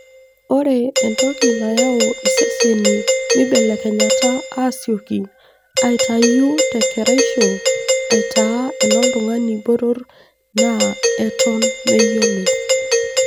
Ore entoki nayau iseseni meibelekenyata asioki aitayu te keraisho aitaa enoltungani botor naa eton meyioloi